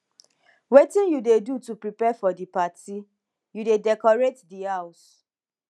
wetin you dey do to prepare for di party you dey decorate di house